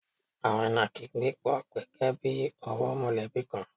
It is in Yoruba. Àwọn ìnàkí ń gbé pọ̀ gẹ́gẹ́ bí ọ̀wọ́ mọ̀lẹ́bí kan.